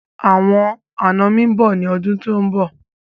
Àwọn àná mi mbọ ni ọdún tí o mb